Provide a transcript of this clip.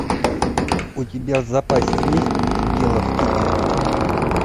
у тебя в запасе есть дело в тебе